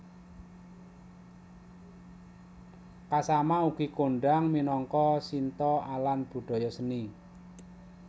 Kasama ugi kondhang minangka Shinto alan budaya seni